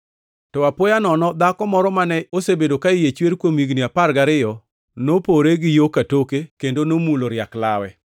To apoya nono, dhako moro mane osebedo ka iye chwer kuom higni apar gariyo nopore gi yo katoke kendo nomulo riak lawe.